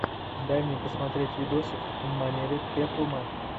дай мне посмотреть видосик в манере пеплума